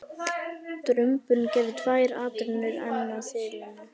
Drumburinn gerði tvær atrennur enn að þilinu.